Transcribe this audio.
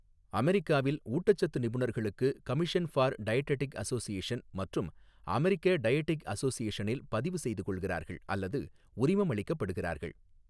அமெரிக்காவில் ஊட்டச்சத்து நிபுணர்களுக்கு கமிஷன் ஃபார் டயடெடிக் அஸோஸியேஷன் மற்றும் அமெரிக்க டயடிக் அஸோஸியேஷனில் பதிவுசெய்து கொள்கிறார்கள் அல்லது உரிமம் அளிக்கப்படுகிறார்கள்.